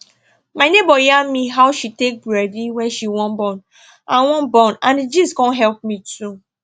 my neighbor yarn me how she take ready wen she wan born and wan born and the gist con help me too